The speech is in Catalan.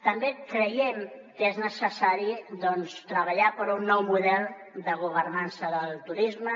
també creiem que és necessari treballar per un nou model de governança del turisme